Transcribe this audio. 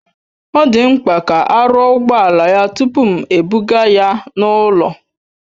Ọ dị mkpa ka a rụọ ụgbọala ya tupu m ebuga ya n'ụlọ